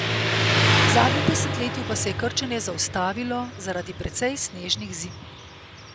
V zadnjem desetletju pa se je krčenje zaustavilo zaradi precej snežnih zim.